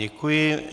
Děkuji.